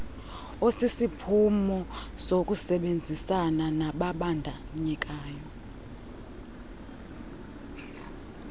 osisiphumo sokusebenzisana nababandakanyekayo